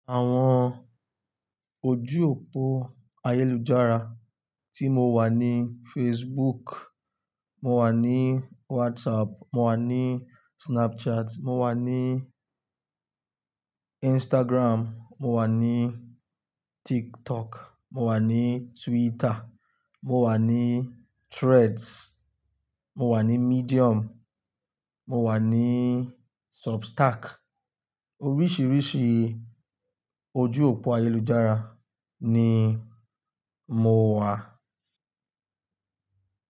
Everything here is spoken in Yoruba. Àwọn ojú òpó ayélujára tí mo wà ni Facebook, mo wà ní WhatsApp, mo wà ní Snapchat, mo wà ní Instagram, mo wà ní TikTok, mo wà ní Twitter, mo wà ní Threads, mo wà ní Medium, mo wà ní Substack. Oríṣiríṣi ojú òpó ayélujára ni mo wà.